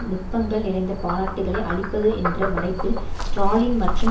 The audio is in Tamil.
நுட்பங்கள் நிறைந்த பாராட்டுக்களை அளிப்பது என்ற மறைப்பில் ஸ்ராலின் மற்றும்